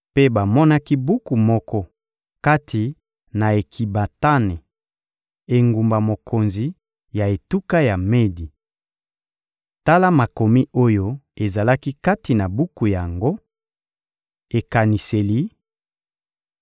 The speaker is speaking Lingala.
Mpe bamonaki buku moko kati na Ekibatane, engumba mokonzi ya etuka ya Medi. Tala makomi oyo ezalaki kati na buku yango: «Ekaniseli: